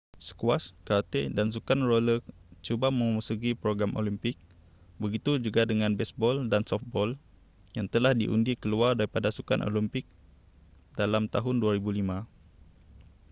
skuasy karate dan sukan roller cuba memasuki program olimpik begitu juga dengan besbol dan sofbol yang telah diundi keluar daripada sukan olimpik dalam tahun 2005